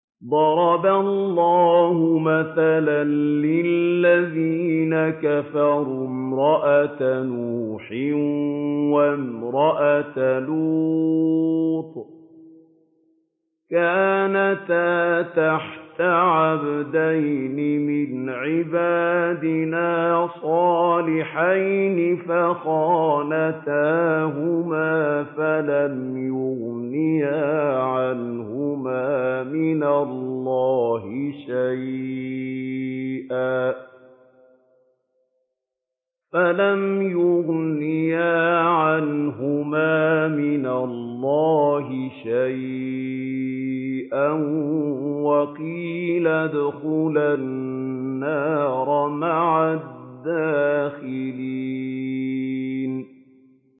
ضَرَبَ اللَّهُ مَثَلًا لِّلَّذِينَ كَفَرُوا امْرَأَتَ نُوحٍ وَامْرَأَتَ لُوطٍ ۖ كَانَتَا تَحْتَ عَبْدَيْنِ مِنْ عِبَادِنَا صَالِحَيْنِ فَخَانَتَاهُمَا فَلَمْ يُغْنِيَا عَنْهُمَا مِنَ اللَّهِ شَيْئًا وَقِيلَ ادْخُلَا النَّارَ مَعَ الدَّاخِلِينَ